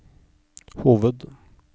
hoved